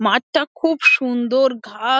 মাঠটা খুব সুন্দর ঘা --